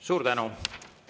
Suur tänu!